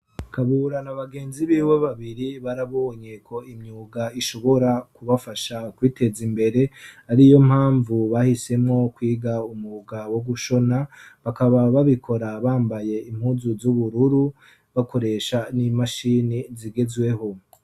kabura na bagenzi b'iwe babiri barabonye ko imyuga ishobora kubafasha kwiteza imbere ari iyo mpamvu bahisemo kwiga umwuga wo gushona bakaba babikora bambaye impuzu z'ubururu bakoresha n'imashini zigezweho